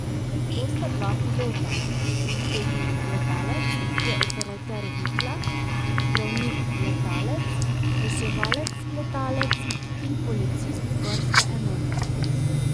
To sta dva pilota, tehnik letalec, ki je operater vitla, zdravnik letalec, reševalec letalec in policist gorske enote.